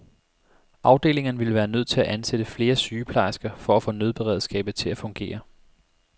Afdelingerne ville være nødt til at ansætte flere sygeplejersker for at få nødberedskabet til at fungere.